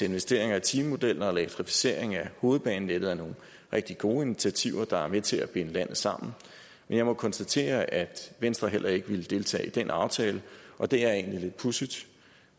investeringer i timemodellen og elektrificeringen af hovedbanenettet er nogle rigtig gode initiativer der er med til at binde landet sammen men jeg må konstatere at venstre heller ikke ville deltage i den aftale og det er egentlig lidt pudsigt